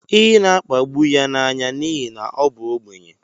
ị na-akpagbu ya anya n'ihi na ọ bụ ogbenye